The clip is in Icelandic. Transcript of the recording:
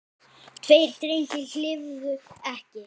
Tveir drengir lifðu ekki.